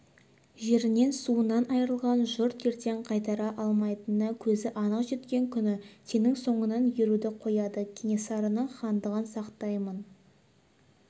жерінен суынан айырылған жұрт ертең қайтара алмайтынына көзі анық жеткен күні сенің соңыңнан еруді қояды кенесарының хандығын сақтаймын